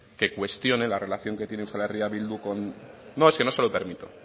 que cuestione la relación que tiene euskal herria bildu con no es que no se lo permito